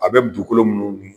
A be dugukolo minnu bi